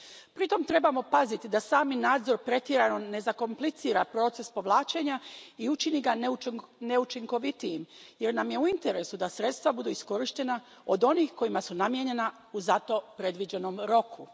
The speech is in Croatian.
Pritom trebamo paziti da sami nadzor pretjerano ne zakomplicira proces povlačenja i učini ga neučinkovitijim jer nam je u interesu da sredstva budu iskorištena od onih kojima su namijenjena u za to predviđenom roku.